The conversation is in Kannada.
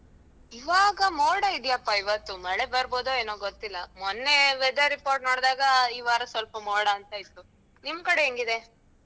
ಇವಾಗ ಮೋಡ ಇದೆಯಪ್ಪಾ ಇವತ್ತು, ಮಳೆ ಬರ್ಬೋದಾ ಏನೋ ಗೊತ್ತಿಲ್ಲ. ಮೊನ್ನೆ weather report ನೋಡ್ದಾಗ ಈ ವಾರ ಸ್ವಲ್ಪ ಮೋಡ ಅಂತ ಇತ್ತು ನಿಮ್ ಕಡೆ ಹೆಂಗಿದೆ?